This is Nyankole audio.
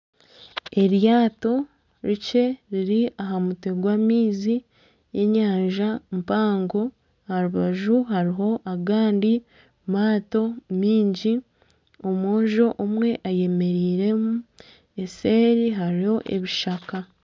Eryato rikye riri aha mutwe gw'amaizi g'enyanja mpango aha rubaju hariho agandi maato mingi omwojo omwe ayemereiremu eseeri hariyo ebishaka.